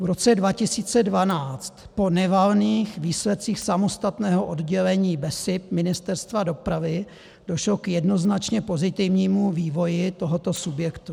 V roce 2012 po nevalných výsledcích samostatného oddělení BESIP Ministerstva dopravy došlo k jednoznačně pozitivnímu vývoji tohoto subjektu.